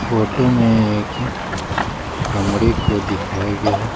Photo में एक कमरे को दिखाया गया है।